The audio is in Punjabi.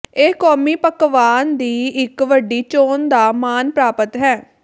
ਇਹ ਕੌਮੀ ਪਕਵਾਨ ਦੀ ਇੱਕ ਵੱਡੀ ਚੋਣ ਦਾ ਮਾਣ ਪ੍ਰਾਪਤ ਹੈ